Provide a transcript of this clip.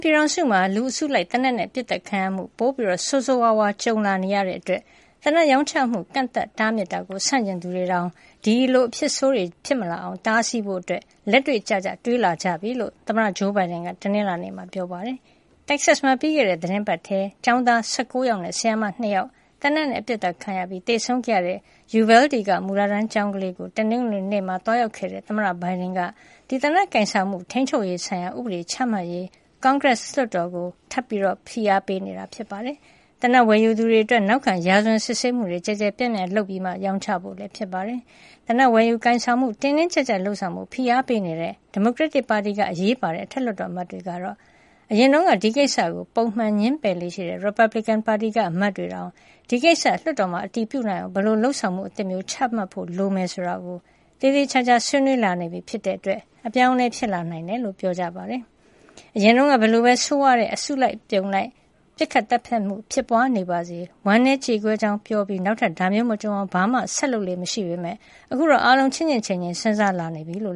ပြည်ထောင်စုမှာ လူအစုလိုက် သေနတ်နဲ့ပစ်သတ်ခံရမှု ပိုဆိုးဆိုးဝါးဝါး ကြုံလာနေရတာကြောင့် သေနတ်ရောင်းချမှု ကန့်သတ်တားမြစ်တာကို ဆန့်ကျင်သူတွေတောင် ဒီအဖြစ်ဆိုးတွေ ဖြစ်မလာအောင် တားဆီးဖို့ လက်တွေ့ကျကျ တွေးလာကြပြီလို့ သမ္မတဂျိုးဘိုင်ဒန်က တနင်္လာနေ့မှာ ပြောပါတယ်။ တက္ကဆက်မှာ ပြီးခဲ့တဲ့သီတင်းပတ်ထဲ ကျောင်းသား ၁၉ ယောက်နဲ့ ဆရာမ ၂ ယောက် သေနတ်နဲ့ အပစ်ခတ်ခံရပြီး သေဆုံးခဲ့ရတဲ့ ယူဗဲလ်ဒီ က မူလတန်းကျောင်းလေးကို တနင်္ဂနွေနေ့မှာ သွားရောက်ခဲ့တဲ့ သမ္မတဘိုင်ဒန်က သေနတ်ကိုင်ဆောင်မှု ထိန်းချုပ်ရေးဆိုင်ရာ ဥပဒေချမှတ်ရေး ကွန်ဂရက်လွှတ်တော်ကို ထပ်မံ ဖိအားပေးနေတာ ဖြစ်ပါတယ်။ သေနတ်ဝယ်ယူသူတွေ အတွက် နောက်ခံရာဇဝင်စစ်ဆေးမှု ကျယ်ကျယ်ပြန့်ပြန့် လုပ်ပြီးမှ ရောင်းချဖု့ို ဖြစ်ပါတယ်။ သေနတ်ဝယ်ယူ ကိုင်ဆောင်မှု တင်းတင်းကြပ်ကြပ် လုပ်ဆောင်ဖို့ ဖိအားပေးနေတဲ့ ဒီမိုကရက်တစ်ပါတီက အရေးပါတဲ့ အထက်လွှတ်တော် အမတ်တွေကတော့ အရင်တုန်းက ဒီကိစ္စကို ပုံမှန် ငြင်းပယ်လေ့ရှိတဲ့ ရီပတ်ဘလစ်ကင် ပါတီက အမတ်တွေတောင် ဒီကိစ္စလွှတ်တော်မှာ အတည်ပြုနိုင်အောင် ဘယ်လိုလုပ်ဆောင်မှု အသစ်မျိုး ချမှတ်ဖို့လိုမယ် ဆိုတာကို သေသေချာချာ ဆွေးနွေး လာနေပြီဖြစ်တဲ့အတွက် အပြောင်းအလဲ ဖြစ်လာနိုင်တယ်လို့ ပြောကြပါတယ်။ အရင်တုန်းက ဘယ်လိုပဲ ဆိုးဝါးတဲ့ လူအစုလိုက် ပစ်ခတ်သတ်ဖြတ်မှု ဖြစ်ပွါးနေပါစေ ဝမ်းနည်းကြေကွဲကြောင်း ပြောပြီး နောက်ထပ်ဒါမျိုးမကြုံရအောင် ဘာမှဆက်လုပ်လေ့မရှိပေမယ့် အခုတော့ အားလုံးချင့်ချင့်ချိန်ချိန် စဉ်းစားလာနေကြပြီလို့